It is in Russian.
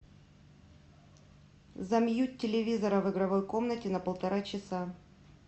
замьють телевизора в игровой комнате на полтора часа